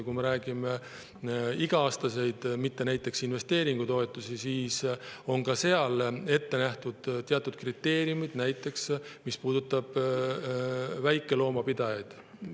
Kui me räägime iga-aastastest, mitte näiteks investeeringutoetustest, siis ka seal on ette nähtud teatud kriteeriumid, näiteks puudutab see väikeloomapidajaid.